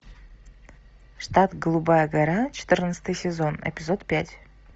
штат голубая гора четырнадцатый сезон эпизод пять